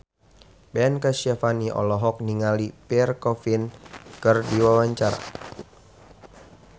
Ben Kasyafani olohok ningali Pierre Coffin keur diwawancara